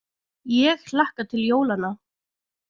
Ég hlakka til jólanna.